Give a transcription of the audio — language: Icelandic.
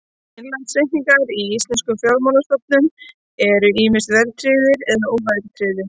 Innlánsreikningar í íslenskum fjármálastofnunum eru ýmist verðtryggðir eða óverðtryggðir.